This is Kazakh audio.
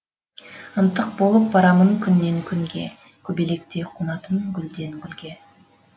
ынтық болып барамын күннен күнге көбелектей қонатын гүлден гүлге